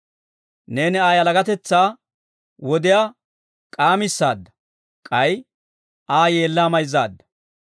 Neeni Aa yalagatetsaa wodiyaa k'aamisaadda; k'ay Aa yeellaa mayzzaadda.